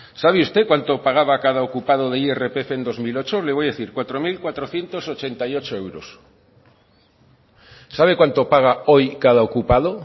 sabe usted cuánto pagaba cada ocupado de irpf en bi mila zortzi le voy a decir cuatro mil cuatrocientos ochenta y ocho euros sabe cuánto paga hoy cada ocupando